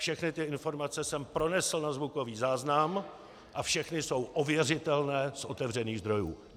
Všechny ty informace jsem pronesl na zvukový záznam a všechny jsou ověřitelné z otevřených zdrojů.